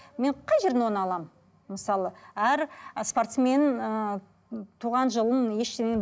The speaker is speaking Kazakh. мен қай жерден оны аламын мысалы әр спортсмен ыыы туған жылын ештеңе